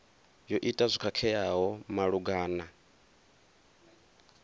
yo ita zwo khakheaho malugana